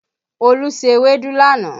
Olú se ewédú lánàá